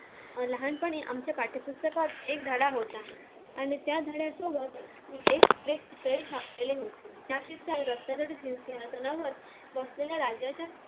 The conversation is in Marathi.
अं लहानपणी आमच्या पाठ्यपुस्तकात एक धडा होता आणि त्या धड्यासोबत एक